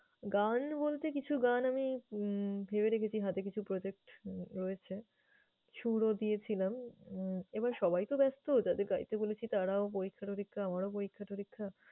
গান বলতে কিছু গান আমি উম ভেবে রেখেছি, হাতে কিছু project রয়েছে, সুরও দিয়েছিলাম। উম এবার সবাই তো ব্যস্ত, যাদের গাইতে বলেছি তারাও পরীক্ষা-টরীক্ষা, আমারও পরীক্ষা-টরীক্ষা